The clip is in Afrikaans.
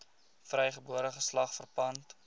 vrygebore geslag verpand